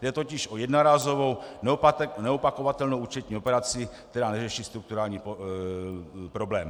Jde totiž o jednorázovou neopakovatelnou účetní operaci, která neřeší strukturální problém.